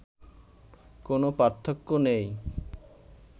কোনো পার্থক্য নেই